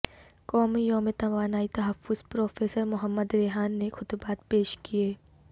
قومی یوم توانائی تحفظ پروفیسر محمد ریحان نے خطبات پیش کئے